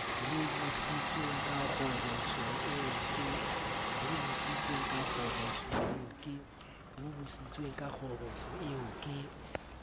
hobositsweng ka kgoboso eo ke